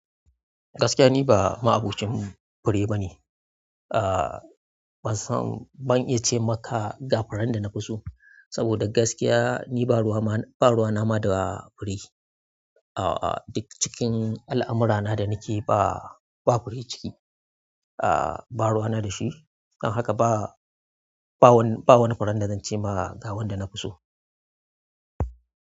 Gaskiya ni ba ma'abocin fure bane. Ah, ban san, ban iya ce maka ga furen dana fi so saboda gaskiya ni ba ruwa ma, ba ruwa nama da fure. Ah, duk cikin al'amura na da nake ba, ba fure ciki. Ah, ba ruwa na dashi. Don haka ba, ba wani, ba wani furen da zance ma ga wanda nafi so.